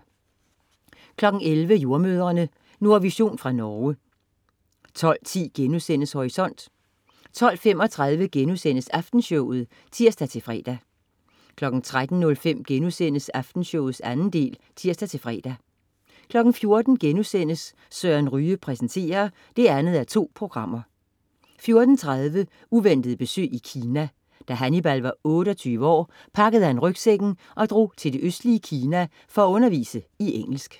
11.00 Jordemødrene. Nordvision fra Norge 12.10 Horisont* 12.35 Aftenshowet* (tirs-fre) 13.05 Aftenshowet 2. del* (tirs-fre) 14.00 Søren Ryge præsenterer 2:2* 14.30 Uventet besøg i Kina. Da Hannibal var 28 år, pakkede han rygsækken og drog til det østlige Kina for at undervise i engelsk